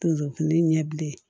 Tozokumu ɲɛ bilen